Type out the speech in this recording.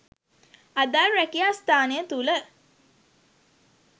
අදාළ රැකියා ස්‌ථානය තුළ